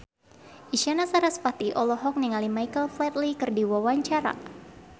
Isyana Sarasvati olohok ningali Michael Flatley keur diwawancara